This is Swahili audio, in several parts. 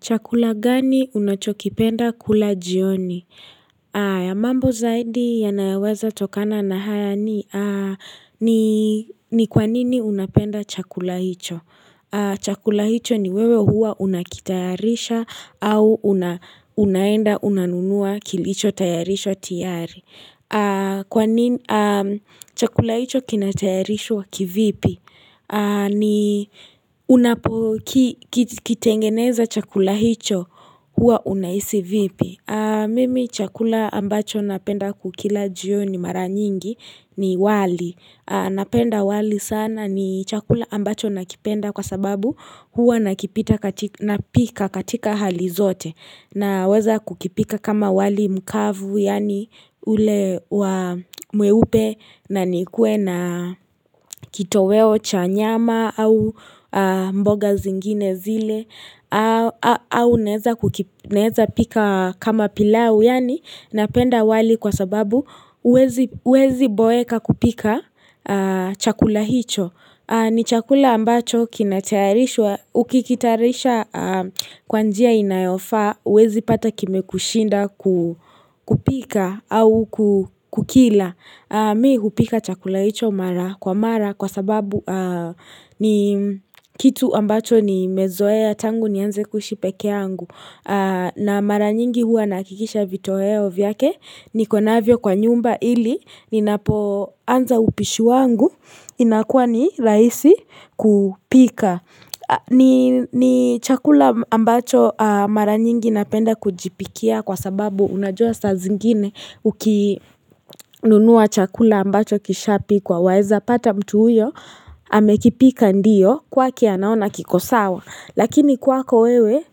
Chakula gani unachokipenda kula jioni? Mambo zaidi yanayoweza tokana na haya ni kwa nini unapenda chakula hicho? Chakula hicho ni wewe huwa unakitayarisha au unaenda unanunua kilichotayarishwa tayari. Chakula hicho kinatayarishwa kivipi? Unapokitengeneza chakula hicho huwa unahisi vipi Mimi chakula ambacho napenda kukila juoni mara nyingi ni wali Napenda wali sana ni chakula ambacho nakipenda kwa sababu huwa nakipika katika hali zote Naweza kukipika kama wali mkavu yani ule mweupe na nikuwe na kitoweo cha nyama au mboga zingine zile au naweza pika kama pilau yani napenda wali kwa sababu huwezi boeka kupika chakula hicho ni chakula ambacho, ukikitayarisha kwa njia inayofaa, huwezi pata kimekushinda kupika au kukila. Mi hupika chakula hicho mara kwa mara kwa sababu ni kitu ambacho nimezoea tangu nianze kuishi pekeangu. Na mara nyingi huwa nahakikisha vitoweo vyake niko navyo kwa nyumba ili ninapo anza upishu wangu inakuwa ni rahisi kupika. Ni chakula ambacho mara nyingi napenda kujipikia kwa sababu unajua saa zingine ukinunua chakula ambacho kishapikwa waeza pata mtu huyo. Amekipika ndiyo kwake anaona kiko sawa Lakini kwako wewe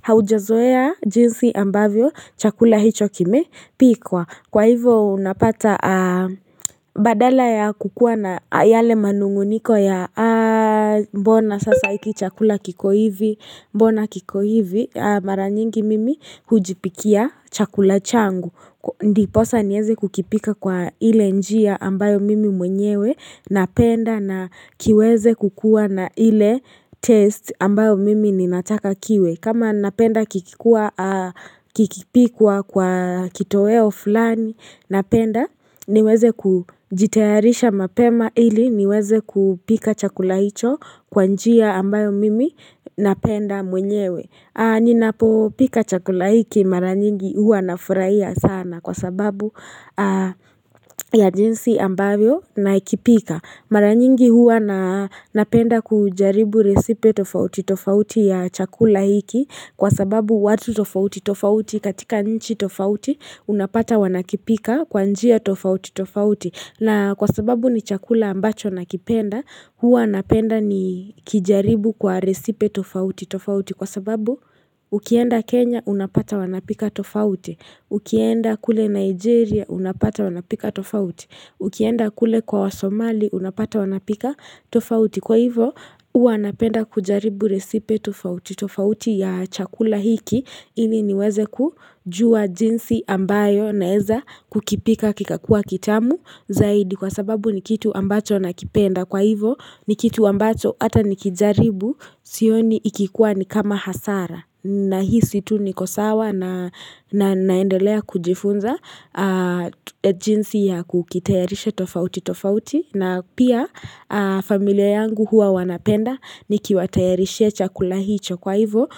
haujazoea jinsi ambavyo chakula hicho kimepikwa Kwa hivyo unapata badala ya kukuwa na yale manunguniko ya Mbona sasa hiki chakula kiko hivi mara nyingi mimi hujipikia chakula changu Ndiposa niweze kukipika kwa ile njia ambayo mimi mwenyewe napenda na kiweze kukuwa na ile test ambayo mimi ninataka kiwe kama napenda kikipikwa kwa kitoweo fulani napenda niweze kujitayarisha mapema ili niweze kupika chakula hicho kwa njia ambayo mimi napenda mwenyewe Ninapopika chakula hiki mara nyingi huwa na furahia sana kwa sababu ya jinsi ambavyo nakipika Mara nyingi huwa napenda kujaribu resipe tofauti tofauti ya chakula hiki Kwa sababu watu tofauti tofauti katika nchi tofauti unapata wanakipika kwa njia tofauti tofauti na kwa sababu ni chakula ambacho nakipenda huwa napenda nikijaribu kwa resipe tofauti tofauti Kwa sababu ukienda Kenya unapata wanapika tofauti Ukienda kule Nigeria unapata wanapika tofauti Ukienda kule kwa wasomali wanapika tofauti Kwa hivyo huwa napenda kujaribu recipe tofauti tofauti ya chakula hiki ili niweze kujua jinsi ambavyo naweza kukipika kikakua kitamu Zaidi kwa sababu ni kitu ambacho nakipenda Kwa hivyo ni kitu ambacho hata nikijaribu Sioni ikikuwa ni kama hasara Nahisi tu niko sawa na naendelea kujifunza jinsi ya kukitayarisha tofauti tofauti na pia familia yangu huwa wanapenda Nikiwatayarishia chakula hicho kwa hivyo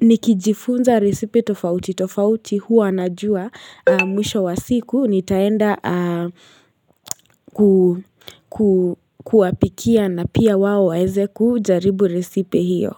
Nikijifunza risipe tofauti tofauti huwa najua Mwisho wa siku nitaenda kuwapikia na pia wao waweze kujaribu risipe hiyo.